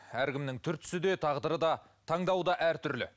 әркімнің түр түсі де тағдыры да таңдауы да әртүрлі